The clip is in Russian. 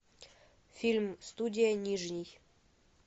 фильм студия нижний